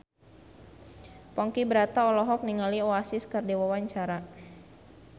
Ponky Brata olohok ningali Oasis keur diwawancara